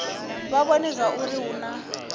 vha vhone zwauri hu na